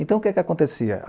Então, o que acontecia?